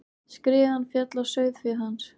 Skriðan féll á sauðféð hans.